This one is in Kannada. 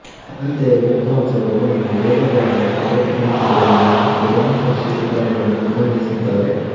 ಅಂತೆಯೇ ವಿದ್ವಾಂಸರು ಇವನ್ನು ವೇದಗಳೆಂಬ ಪರ್ವತಪಂಕ್ತಿಗಳಲ್ಲಿನ ಗಗನಸ್ಪರ್ಶಿ ಶಿಖರಗಳೆಂದು ಬಣ್ಣಿಸಿದ್ದಾರೆ